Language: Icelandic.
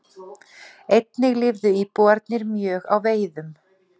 Einnig lifðu íbúarnir mjög á veiðum.